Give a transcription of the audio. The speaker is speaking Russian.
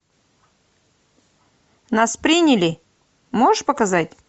нас приняли можешь показать